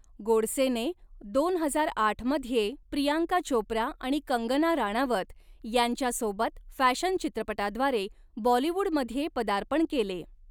गोडसेने दोन हजार आठमध्ये प्रियांका चोप्रा आणि कंगना राणावत यांच्यासोबत फॅशन चित्रपटाद्वारे बॉलिवूडमध्ये पदार्पण केले.